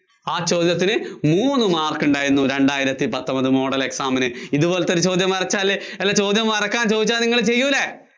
ആ ചോദ്യത്തിന് മൂന്ന് mark ഉണ്ടായിരുന്നു രണ്ടായിരത്തി പപത്തൊന്‍പത് model exam ന്. ഇത്പോലത്തെ ഒരു ചോദ്യം വരച്ചാല്, ചോദ്യം വരയ്ക്കാന്‍ ചോദിച്ചാ നിങ്ങള്‍ ചെയ്യൂല്ലേ?